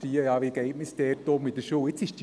Wie geht man in der Schule damit um?